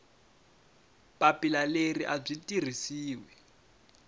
papila leri a byi tirhisiwi